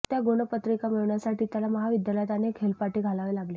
त्या गुणपत्रिका मिळवण्यासाठी त्याला महाविद्यालयात अनेक हेलपाटे घालावे लागले